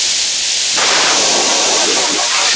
Höggið er mikið og þungt.